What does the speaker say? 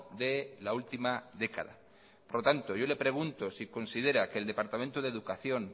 de la última década por tanto yo le pregunto si considera que el departamento de educación